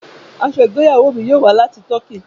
Aṣọ igbeyawo mi yoo wa lati Tọki.